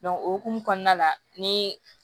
o hokumu kɔnɔna la ni